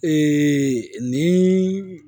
ni